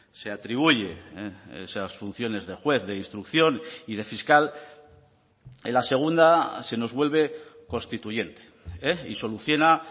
se atribuye esas funciones de juez de instrucción y de fiscal en la segunda se nos vuelve constituyente y soluciona